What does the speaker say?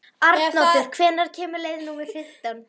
Arnoddur, hvenær kemur leið númer fimmtán?